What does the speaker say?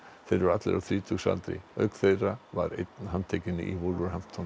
þeir eru allir á þrítugsaldri auk þeirra var einn handtekinn í